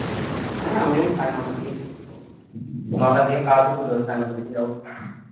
হ্যাঁ আমি হয়ে সাড়ে নটার দিকে নটা থেকে খাওয়াতে শুরু হয় সাড়ে নটা থেকে যাব